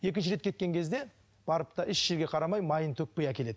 екінші рет кеткен кезде барыпты да еш жерге қарамай майын төкпей әкеледі